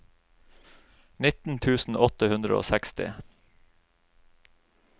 nitten tusen åtte hundre og seksti